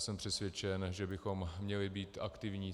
Jsem přesvědčen, že bychom měli být aktivní.